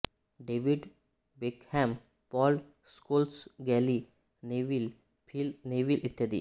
David Beckham Paul Scholes Gary Neville Phil Neville इत्यादी